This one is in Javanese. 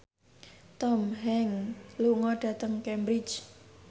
Tom Hanks lunga dhateng Cambridge